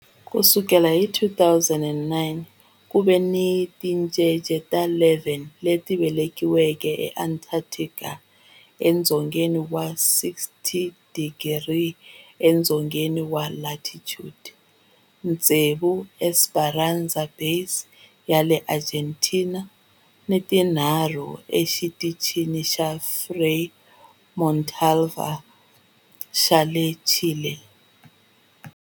Ku sukela hi 2009, ku ve ni tincece ta 11 leti velekiweke eAntarctica, edzongeni wa 60 wa tidigri edzongeni wa latitude, tsevu eEsperanza Base ya le Argentina ni tinharhu eXitichini xa Frei Montalva xa le Chile.